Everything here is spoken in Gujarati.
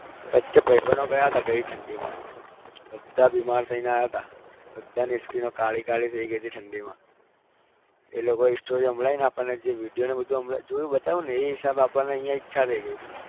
વચ્ચે ભાઈબંધો ગયા હતા ગઈ ઠંડીમાં બધા બીમાર થઈને આવ્યા હતા બધાની skin કાળી કાળી થઇ ગઈ હતી ઠંડીમાં એ લોકો એ story સંભળાવી અને આપણને જે video બધું સંભળાવ્યું જોયું બતાવ્યુંને એ હિસાબે આપણને અહીંયા ઈચ્છા થઇ ગઈ હતી.